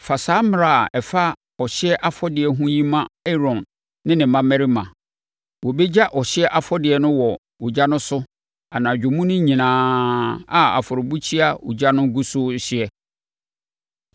“Fa saa mmara a ɛfa ɔhyeɛ afɔdeɛ ho yi ma Aaron ne ne mmammarima. ‘Wɔbɛgya ɔhyeɛ afɔrebɔdeɛ no wɔ ogya no so anadwo mu no nyinaa a afɔrebukyia ogya no gu so rehye.